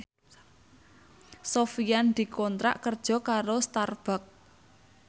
Sofyan dikontrak kerja karo Starbucks